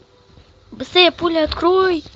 быстрее пули открой